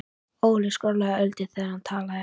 Óli skrollaði örlítið þegar hann talaði.